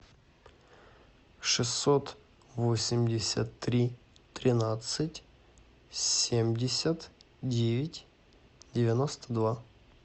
шестьсот восемьдесят три тринадцать семьдесят девять девяносто два